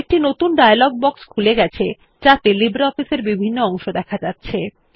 একটি নতুন dialog box খুলে গেছে যাতে লিব্রিঅফিস এর বিভিন্ন অংশ দেখা যাচ্ছে